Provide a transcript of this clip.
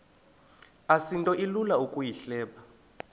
asinto ilula ukuyihleba